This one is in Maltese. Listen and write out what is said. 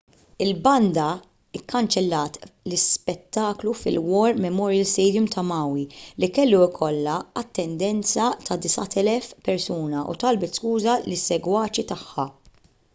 il-banda kkanċellat l-ispettaklu fil-war memorial stadium ta' maui li kellu jkollu attendenza ta' 9,000 persuna u talbet skuża lis-segwaċi tagħha